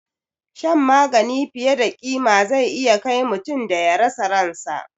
Shan magani fiye da ƙima zai iya kai mutum da ya rasa ransa